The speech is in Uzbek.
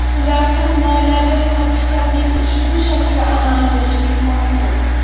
Ularsiz moliyaviy hisob-kitobning ushbu shakli amal qilishi imkonsiz.